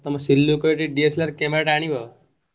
ହଁ ଆଉ ତମର ସେ ଲୋକ ଟି DSLR camera ଆଣିବ।